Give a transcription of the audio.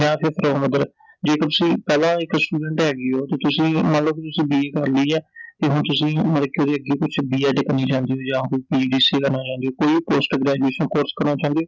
ਜੇਕਰ ਤੁਸੀਂ ਪਹਿਲਾਂ ਇੱਕ student ਹੈਗੇ ਓ ਤੇ ਤੁਸੀਂ ਮੰਨਲੋ ਵੀ ਤੁਸੀਂ BA ਕਰ ਲਈ ਐ ਤੇ ਹੁਣ ਤੁਸੀਂ ਮਤਲਬ ਕਿ ਓਹਦੇ ਅੱਗੇ-ਪਿੱਛੇ B. Ed ਕਰਨੀ ਚਾਹੁੰਦੇ ਓ ਜਾਂ ਫੇਰ PGDCA ਕਰਨਾ ਚਾਹੁੰਦੇ ਓ, ਕੋਈ Post graduation ਕੋਰਸ ਕਰਨਾ ਚਾਹੁੰਦੇ ਓ